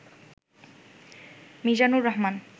Mizanur Rahman